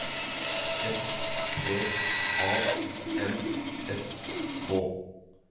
S P A N S K